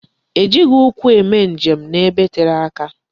E jighị ụkwụ eme njem n'ebe tere aka.